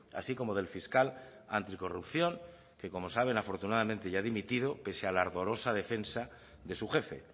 así como del fiscal anticorrupción que como saben afortunadamente ya ha dimitido pese a la ardorosa defensa de su jefe